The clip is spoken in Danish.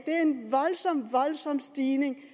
voldsom stigning